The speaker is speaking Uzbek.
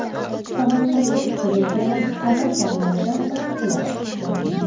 Samarqandda uchirilgan havo sharlaridan biri qulab tushdi .